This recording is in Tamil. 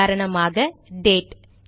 உதாரணமாக டேட்date